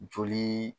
Joli